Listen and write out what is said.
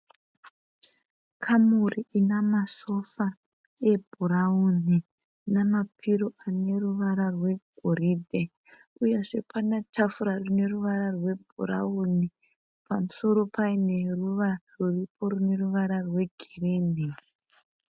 Kamuri inamasofa ebhurauni namapiro aneruvara rwegoridhe. Uyezve pane tafura rineruvara rwebhurauni pamusoro paineruva riripo rineruvara rwegirini.